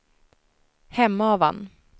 Hemavan